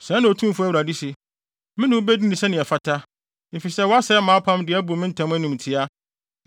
“ ‘Sɛɛ na Otumfo Awurade se: Me ne wo bedi no sɛnea ɛfata, efisɛ woasɛe mʼapam de abu me ntam animtiaa.